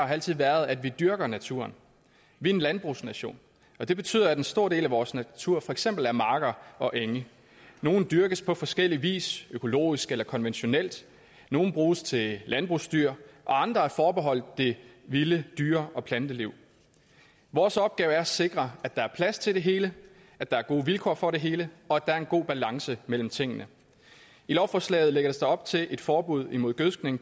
altid været at vi dyrker naturen vi er en landbrugsnation det betyder at en stor del af vores natur for eksempel er marker og enge nogle dyrkes på forskellig vis økologisk eller konventionelt nogle bruges til landbrugsdyr og andre er forbeholdt det vilde dyre og planteliv vores opgave er at sikre at der er plads til det hele at der er gode vilkår for det hele og at der er en god balance mellem tingene i lovforslaget lægges der op til et forbud mod gødskning